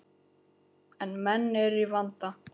En menn eru í vanda.